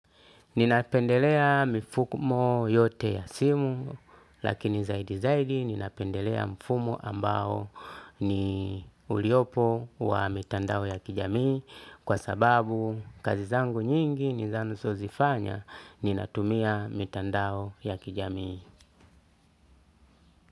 Ninapendelea mifumo yote ya simu lakini zaidi zaidi ninapendelea mfumo ambao ni uliopo wa mitandao ya kijamii kwa sababu kazi zangu nyingi ni ninazozifanya ninatumia mitandao ya kijamii.